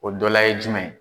O dɔ la ye jumɛn ye